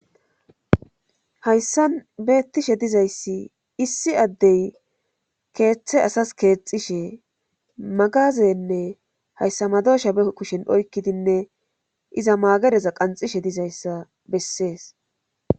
Hayssa beettishe dizayssi issi addey keeththe asas keexishe magazenne hayssa madosha be kushin oykkidinne iza maagereza qanxishe dizayssa bessees.